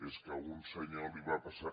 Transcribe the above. és que a un senyor li va passar